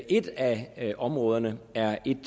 et af af områderne er et